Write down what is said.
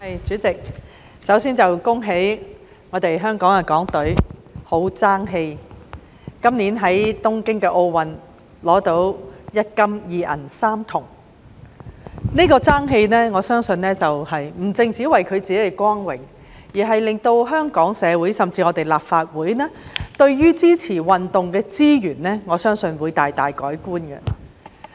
代理主席，首先要恭喜港隊十分爭氣，今年在東京奧運取得一金、二銀、三銅，我相信這份爭氣不只是為了他們自己的光榮，亦令香港社會甚至立法會對支持運動的資源大大改觀。